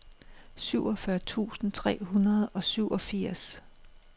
syvogfyrre tusind tre hundrede og syvogfirs